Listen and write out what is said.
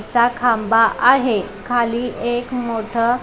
चा खांबा आहे खाली एक मोठ--